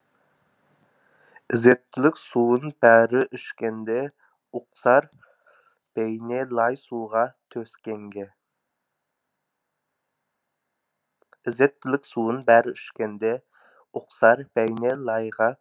ізеттілік суын бәрі ішкенде ұқсар бейне лай суға түскенге